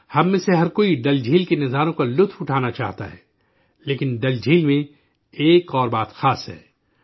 ہم میں سے ہر کوئی ڈل جھیل کے نظاروں کا لطف اٹھانا چاہتا ہے، لیکن ڈل جھیل میں ایک اور بات خاص ہے